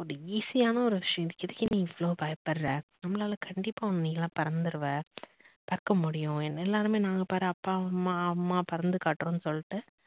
ஒரு easy யான ஒரு விஷயத்துக்கு எதுக்கு நீ இவ்ளோ பயப்படுற நம்மளால கண்டிப்பா நீலாம் பறந்துடுவ பறக்க முடியும் எல்லாருமே நாங்க பார் அப்பா அம்மா பறந்து காற்றோம்னு சொல்லிட்டு